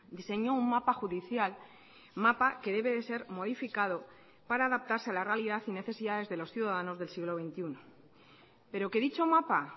diseñó un mapa judicial mapa que debe de ser modificado para adaptarse a la realidad y necesidades de los ciudadanos del siglo veintiuno pero que dicho mapa